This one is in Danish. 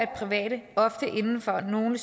private ofte inden for nogle